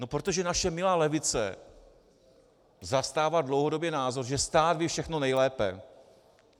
No protože naše milá levice zastává dlouhodobě názor, že stát ví všechno nejlépe.